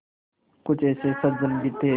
कुछ ऐसे सज्जन भी थे